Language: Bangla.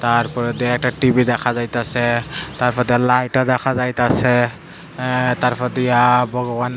তারপরে দুই একটা টি_ভি দেখা যাইতাসে তারপর দিয়া লাইট -ও দেখা যাইতাসে অ্যা তারপর দিয়া ভগবান --